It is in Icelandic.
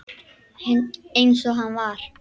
Eins og hann var.